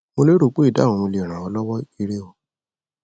mo lérò pé ìdáhùn mi lè ràn ọ lọwọ ire o